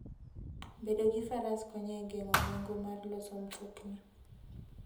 Bedo gi Faras konyo e geng'o nengo mar loso mtokni.